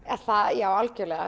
já algjörlega